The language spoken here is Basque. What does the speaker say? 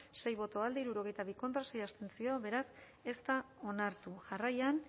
sei boto alde hirurogeita bi contra sei abstentzio beraz ez da onartu jarraian